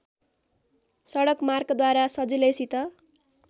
सडकमार्गद्वारा सजिलैसित